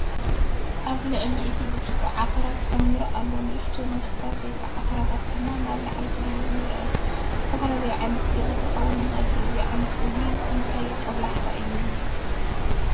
ኣብ ላዕሊ እቲ ብርጭቆ ዓፍራ ተኾሚሩ ኣሎ፣ ንኣሽቱ ነብሳት/ዓፍራታት ድማ ናብ ላዕሊ ክድይቡ ይረኣዩ። ዝተፈለየ ዓይነት ቢራ ክኸውን ይኽእል እዩ። እዚ እንታይ ጦብላሕታ እዩ ዚህብ፧